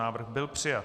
Návrh byl přijat.